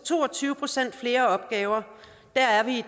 to og tyve procent flere opgaver der er vi i